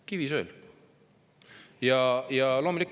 Kivisöel!